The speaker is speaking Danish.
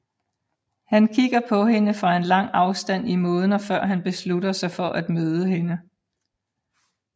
Han kigger på hende fra en lang afstand i månder før han beslutter sig for at møde hende